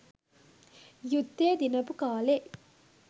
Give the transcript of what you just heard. යුද්ධය දිනපු කාලේ